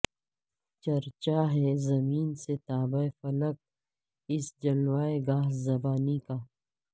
چرچاہے زمیں سے تابہ فلک اس جلوہ گہ ربانی کا